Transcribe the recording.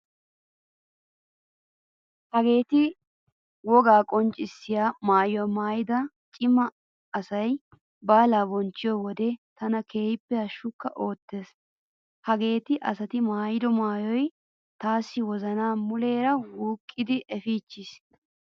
Hageeti wogaa qonccissiya maayuwa maayidi cima asay baalaa bonchchiyo wode tana keehippe hashshukka oottees. Hageeti asati maayido maayoy taassi wozanaa muleera wuuqqidi efiichchiis.